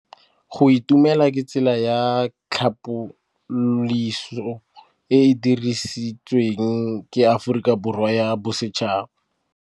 Go itumela ke tsela ya tlhapolisô e e dirisitsweng ke Aforika Borwa ya Bosetšhaba.